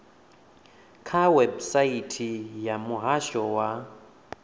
kha website ya muhasho wa